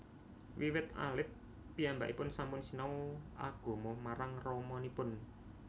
Wiwit alit piyambakipun sampun sinau agama marang ramanipun